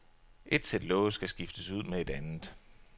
Et sæt love skal skiftes ud med et andet.